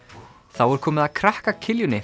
þá er komið að krakka